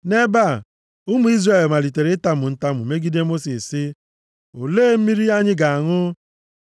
Nʼebe a, ụmụ Izrel malitere itamu ntamu, megide Mosis sị, “Olee mmiri anyị ga-aṅụ?”